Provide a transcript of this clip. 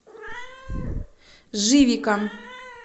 живика